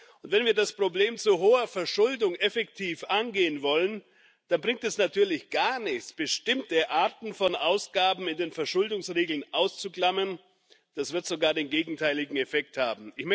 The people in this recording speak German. Und wenn wir das Problem zu hoher Verschuldung effektiv angehen wollen, dann bringt es natürlich gar nichts, bestimmte Arten von Ausgaben in den Verschuldungsregeln auszuklammern, das wird sogar den gegenteiligen Effekt haben.